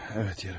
Bəli, yeyərəm.